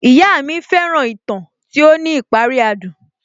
Ìyá mi fẹ́ràn ìtàn tí ó ní ìparí adùn